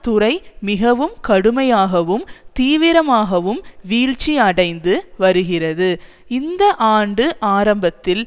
துறை மிகவும் கடுமையாகவும் தீவிரமாகவும் வீழ்ச்சி அடைந்து வருகிறது இந்த ஆண்டு ஆரம்பத்தில்